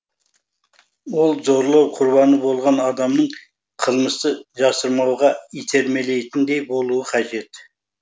ол зорлау құрбаны болған адамның қылмысты жасырмауға итермелейтіндей болуы қажет